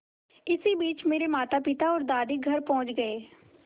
इसी बीच मेरे मातापिता और दादी घर पहुँच गए